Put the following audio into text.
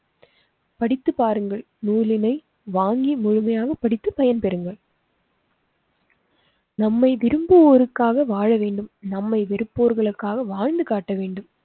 படித்து பாருங்கள். நூலினை வாங்கி முழுமையாகப் படித்து பயன் பெறுங்கள். நம்மை விரும்புவோருக்காக வாழ வேண்டும். நம்மை வெருப்போர்களுக்காக வாழ்ந்து காட்ட வேண்டும்